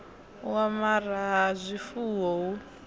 u amara ha zwifuwo hu